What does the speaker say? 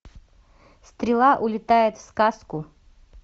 стрела улетает в сказку